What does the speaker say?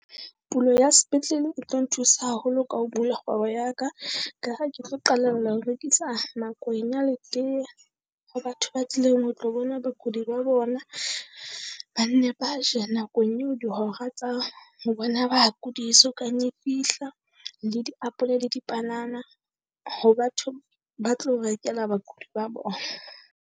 Pulo ya sepetlele e tlo nthusa haholo ka ho bula kgwebo ya ka. Ka ha ke tlo qalella ho rekisa magwenya le tee ho batho ba tlileng ho tlo bona bakudi ba bona. Ba nne ba je nakong eo dihora tsa ho bona bakudi e so kang e fihla, le diapole le dipanana ho batho ba tlo rekela bakudi ba bona.